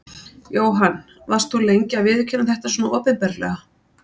Jóhann: Varst þú lengi að viðurkenna þetta svona opinberlega?